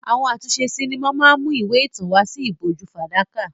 Àwọn àtúnṣe sinimá máa ń mú ìwé ìtàn wá sí ìbòjú fàdákà.